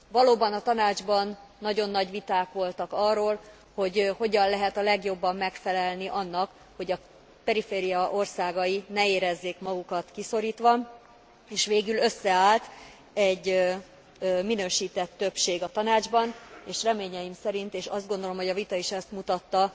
Valóban, a Tanácsban nagyon nagy viták voltak arról, hogy hogyan lehet a legjobban megfelelni annak, hogy a periféria országai ne érezzék magukat kiszorítva, és végül összeállt egy minősített többség a Tanácsban, és reményeim szerint és azt gondolom, hogy a vita is ezt mutatta